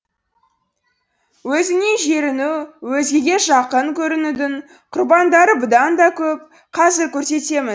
өзінен жеріну өзгеге жақын көрінудің құрбандары бұдан да көп қазір көрсетемін